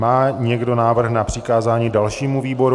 Má někdo návrh na přikázání dalšímu výboru?